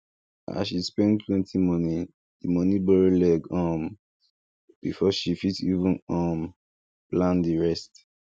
as she spend plenty money the money borrow leg um before she fit even um plan the rest